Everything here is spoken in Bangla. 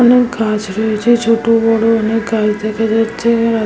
অনেক গাছ রয়েছে ছোট বড় অনেক গাছ দেখা যাচ্ছে এ ।